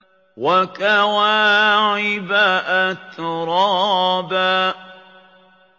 وَكَوَاعِبَ أَتْرَابًا